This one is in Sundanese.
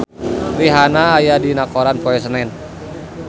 Rihanna aya dina koran poe Senen